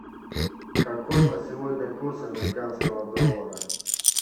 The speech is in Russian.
какой на сегодня курс американского доллара